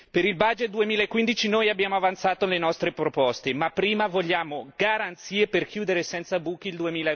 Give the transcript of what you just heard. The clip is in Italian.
Per il budget 2015 noi abbiamo avanzato le nostre proposte, ma prima vogliamo garanzie per chiudere senza buchi il